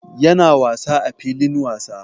Ya na wasa a filin wasa